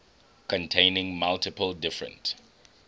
containing multiple different